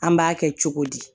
An b'a kɛ cogo di